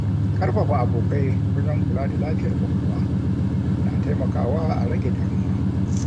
Ƙarfafa abokai wajen kula da lafiyar ƙwaƙwalwa na taimakawa a rage damuwa.